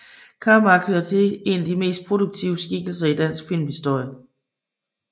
Karmark hører til en af de mest produktive skikkelser i dansk filmhistorie